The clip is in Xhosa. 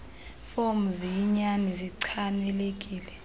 fomu ziyinyani zichanekile